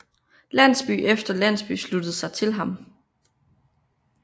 Landsby efter landsby sluttede sig til ham